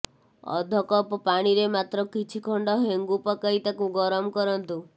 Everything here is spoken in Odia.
ଅଧ କପ୍ ପାଣିରେ ମାତ୍ର କିଛି ଖଣ୍ଡ ହେଙ୍ଗୁ ପକାଇ ତାକୁ ଗରମ କରନ୍ତୁ